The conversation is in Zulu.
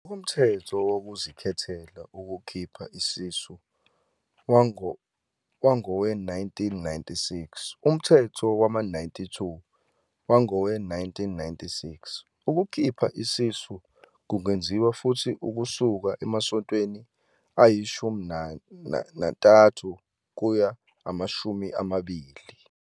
NgokoMthetho Wokuzikhethela Ukukhipha Isisu wangowe-1996, Umthetho wama-92 wangowe-1996, ukukhipha isisu kungenziwa futhi ukusuka emasontweni ayi-13 kuya kwangama-20.